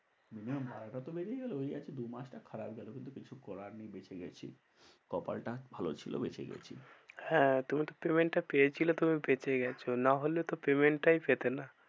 Minimum ভাড়াটা তো বেরিয়ে গেলো ওই আর কি দু মাসটা খারাপ গেলো। কিন্তু কিছু করার নেই বেঁচে গেছি। কপালটা ভালো ছিল বেঁচে গেছি। হ্যাঁ তুমি তো payment টা পেয়েছিলে তুমি বেঁচে গেছো না হলে তো payment টাই পেতে না।